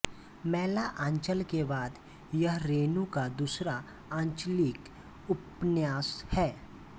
मैला आँचल के बाद यह रेणु का दूसरा आंचलिक उपन्यास है